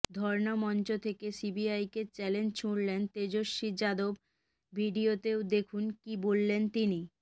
ধর্না মঞ্চ থেকে সিবিআইকে চ্যালেঞ্জ ছুঁড়লেন তেজস্বী যাদব ভিডিওতে দেখুন কী বললেন তিনি